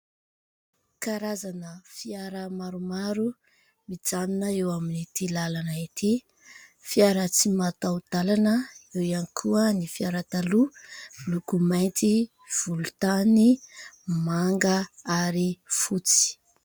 Karazana fiara maromaro, mijanona eo amin'ity lalana ity. Fiara tsy mataho-dalana ; eo ihany koa ny fiara taloha miloko mainty, volontany, manga ary fotsy.